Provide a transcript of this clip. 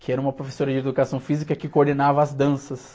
que era uma professora de educação física que coordenava as danças.